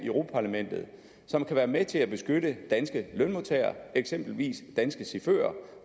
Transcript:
europa parlamentet som kan være med til at beskytte danske lønmodtagere eksempelvis danske chauffører